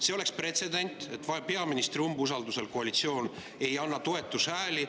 See oleks pretsedent, et peaministri umbusaldusel koalitsioon ei anna toetushääli.